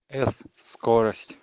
с скорость